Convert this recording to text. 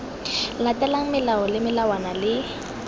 latelang melao le melawana le